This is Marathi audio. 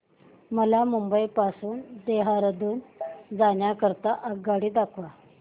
मला मुंबई पासून देहारादून जाण्या करीता आगगाडी दाखवा